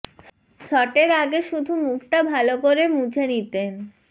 শটের আগে শুধু মুখটা ভালো করে মুছে নিতেন